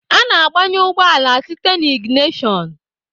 Ana agbanye ụgbọala site n'iginishon.